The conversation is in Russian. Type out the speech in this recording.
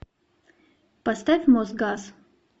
поставь мосгаз